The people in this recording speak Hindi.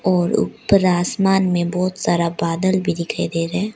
और उप्पर आसमान में बहोत सारा बादल भी दिखाई दे रहे--